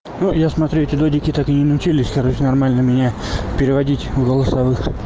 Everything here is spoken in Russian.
ну я смотрю эти люди так и не научились короче нормально меня переводить в голосовых